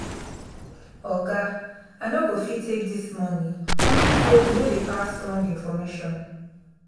oga i no go fit take dis money unto say we no dey pass wrong information